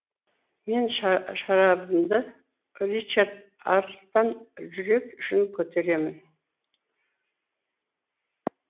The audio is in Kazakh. мен шарабымды ричард арыстан жүрек үшін көтеремін